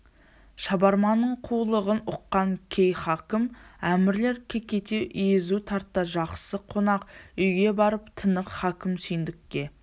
шабарманның қулығын ұққан кей хакім әмірлер кекете езу тартты жақсы қонақ үйге барып тынық хакім сүйіндікке